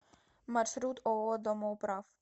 маршрут ооо домоуправ